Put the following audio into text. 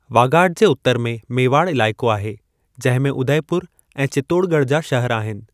वागाड जे उतरु में मेवाड़ इलाइक़ो आहे, जंहिं में उदयपुर ऐं चित्तोड़गढ जा शहर आहिनि।